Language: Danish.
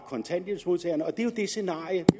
kontanthjælpsmodtagere det er jo scenariet